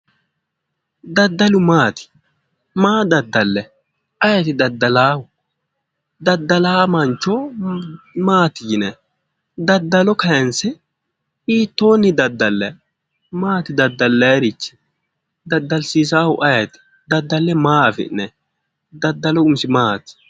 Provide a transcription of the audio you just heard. Daddalu maati maa daddallayi ayeeti daddalaahu daddalaa mancho maati yinanni daddalo kayinse hiittoonni daddallanni maati daddallayrichi daddalsiisaahu ayeeti daddalle maa afi'nayi daddalu umisi maati